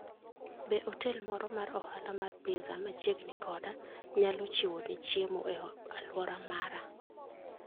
Be otel moro mar ohala mar pizza machiegni koda nyalo chiwoni chiemo e alwora mara?